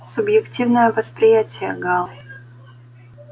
субъективное восприятие гаал